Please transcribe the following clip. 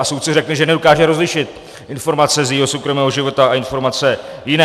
A soudce řekne, že nedokáže rozlišit informace z jejího soukromého života a informace jiné.